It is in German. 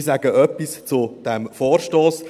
Ich sage etwas zu diesem Vorstoss.